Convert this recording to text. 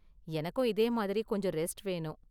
எனக்கும் இதேமாதிரி கொஞ்சம் ரெஸ்ட் வேணும்.